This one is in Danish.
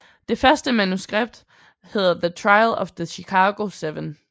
Det første manuskript hedder The trial of the Chicago 7